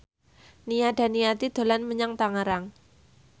Nia Daniati dolan menyang Tangerang